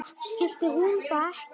Skildi hún það ekki?